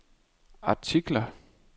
artikler